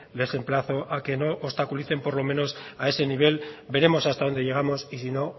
les emplazo a que no obstaculicen por lo menos a ese nivel veremos hasta dónde llegamos y si no